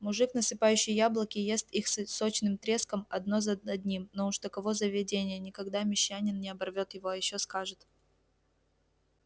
мужик насыпающий яблоки ест их сочным треском одно за одним но уж таково заведение никогда мещанин не оборвёт его а ещё скажет